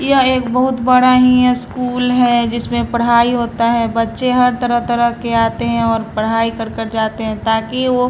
ये बहुत बड़ा ही स्कूल है जिसमें पढ़ाई होता है बच्चे हर तरह-तरह के आते है और पढ़ाई कर कर जाते है ताकि वो--